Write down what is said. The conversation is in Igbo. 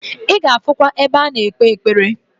I ga afukwa ebe ano ekpe ekpere.